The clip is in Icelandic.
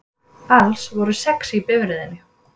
Alls voru sex í bifreiðinni